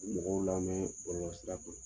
Mɔgɔw lamɛn bɔlɔlɔ sira